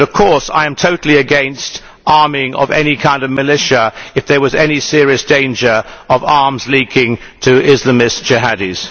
But of course I am totally against the arming of any kind of militia if there was any serious danger of arms leaking to Islamist jihadis.